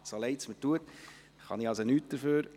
So leid es mir tut, ich kann nichts dafür.